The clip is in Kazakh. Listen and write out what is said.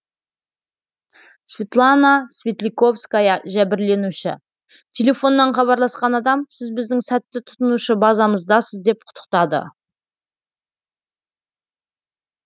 светлана светляковская жәбірленуші телефоннан хабарласқан адам сіз біздің сәтті тұтынушы базамыздасыз деп құттықтады